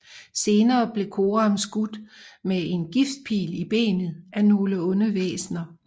Senere blev Coram skudt med en giftpil i benet af nogle onde væsner